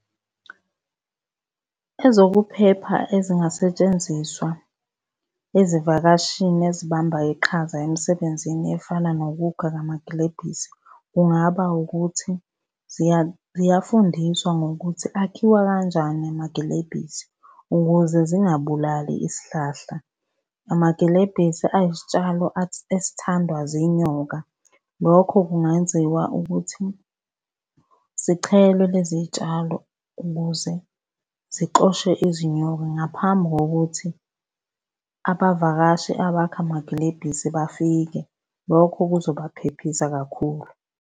Ezokuphepha ezingasetshenziswa ezivakashini ezibamba iqhaza emsebenzini efana nokukha kwamagilebhisi, kungaba ukuthi ziyafundiswa ngokuthi akhiwa kanjani amagilebhisi ukuze zingabulali isihlahla. Amagilebhisi ayisitshalo esithandwa zinyoka. Lokho kungenziwa ukuthi zichelwe lezi tshalo ukuze zixoshe izinyoka ngaphambi kokuthi abavakashi abakha amagilebhisi bafike, lokho kuzobaphephisa kakhulu.